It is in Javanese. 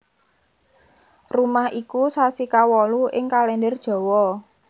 Ruwah iku sasi kawolu ing Kalendher Jawa